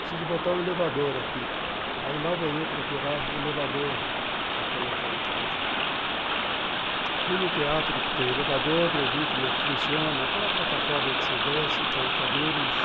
preciso botar um elevador aqui aí lá vou eu procurar elevador para colocar em casa fui no teatro que tem elevador e eu vi como é que funciona aquela plataforma que você desce, põe a cadeira e...